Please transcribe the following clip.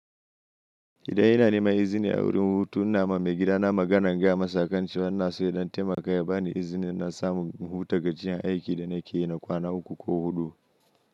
Idan ina neman izini a wurin hutun na, ma mai gida na magana gaya masa kan cewa ina so yadan taimaka ya ba ni izinin in dan samu in hutu gajiyan aiki da nake yi na kwana uku ko huɗu.